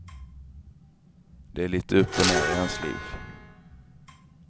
Det är lite upp och ner i hans liv.